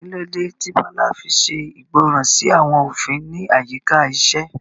Kí ló dé tí Bola fi ṣègbọràn sí àwọn òfin ní àyíká iṣẹ́?